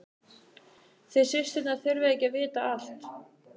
Þið systurnar þurfið ekki að vita allt.